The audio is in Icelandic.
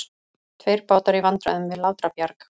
Tveir bátar í vandræðum við Látrabjarg